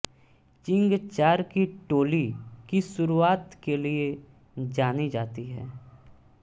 चींग चार की टोली की शुरूआत के लिए जानी जाती है